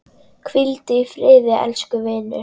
Hvíldu í friði, elsku vinur.